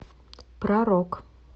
про рок